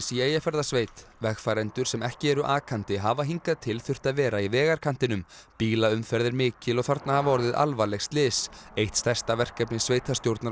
í Eyjafjarðarsveit vegfarendur sem ekki eru akandi hafa hingað til þurft að vera í vegarkantinum bílaumferð er mikil og þarna hafa orðið alvarleg slys eitt stærsta verkefni sveitarstjórnar